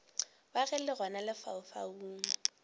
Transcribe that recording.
wa ge le gona lefaufau